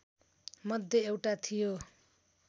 मध्ये एउटा थियो